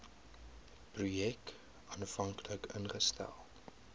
projek aanvanklik ingestel